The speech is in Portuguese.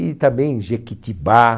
E também Jequitibá.